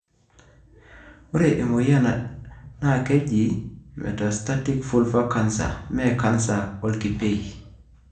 ore emoyian na kejii metastatic vulvar canser, mee canser olkipiei,